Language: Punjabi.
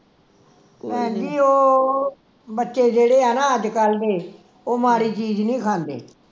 ਭੈਣ ਜੀ ਉਹ ਬੱਚੇ ਜਿਹੜੇ ਆ ਨਾ ਅੱਜ ਕੱਲ ਦੇ ਉਹ ਮਾੜੀ ਚੀਜ ਨੀ ਖਾਂਦੇ